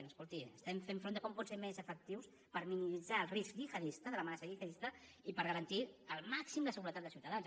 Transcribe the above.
no escolti estem fent front de com podem ser més efectius per minimitzar el risc gihadista de l’amenaça gihadista i per garantir al màxim la seguretat dels ciutadans